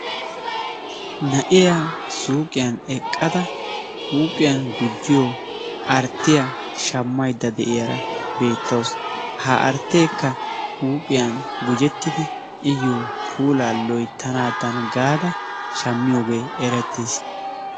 Na'iyaa suyiqiyan eqqada huuphiyan gujjiyoo arttiya shammaydda de'iyaara beettawusu ha artteekka huuphiyan gejettidi iyoo puulaa loyttanadan gaada shammiyoogee erettiis.